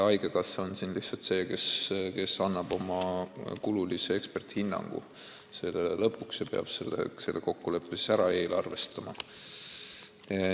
Haigekassa on lihtsalt see, kes annab lõpuks oma eksperdihinnangu kulude kohta ja peab selle kokkuleppe ära eelarvestama.